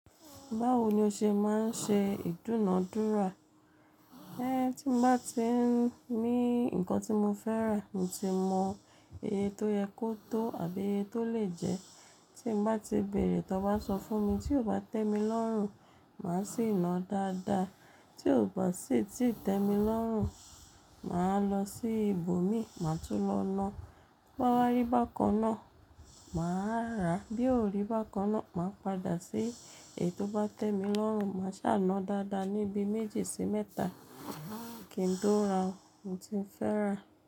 Báwo ni o ṣe máa ń ṣe ìdúnadúrà? Eh, tí mo bá ti n ní nǹkan tí mo fẹ́ rà, mo tí mọ íye tó yẹ kó tó àbí íye tó lè jẹ. Tí n bá ti bèrè ton bá sọ fún mi, tí ó bá tẹ́ mi lọ́rùn, màá sì na dáadáa. Tí ò bá sì tí i tẹ́ mi lọ́rùn, màá lọ sí ibòmíì, màá tún lọ lọ. Bo bá wa rí bákan náà, màá rà, bí ò rí bákan náà, màá padà sí èyí tó bá tẹ́ mi lọ́rùn. Màá sá na dáadáa níbi méjì sí mẹ́ta, kí n tó ra ohun tí mo fẹ́ rà.